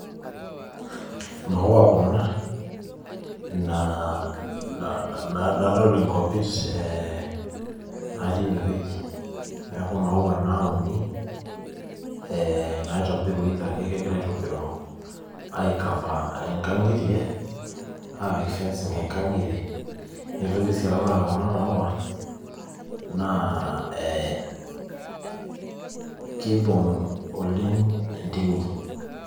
Imaua kuna, nadolita inkopit naa teine wueji, neaku imaua inauni, naitobiru either kegirai aitobiru aikafa inkang'itie aapik fencing inkang'itie. Neitoki sii aaku ore kuna maua, naa keibung' oleng' intimi.